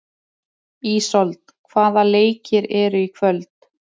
Ísold, hvaða leikir eru í kvöld?